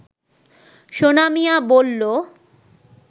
সোনা মিয়া বলল